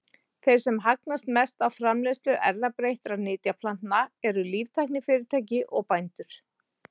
Þeir sem hagnast mest á framleiðslu erfðabreyttra nytjaplantna eru líftæknifyrirtæki og bændur.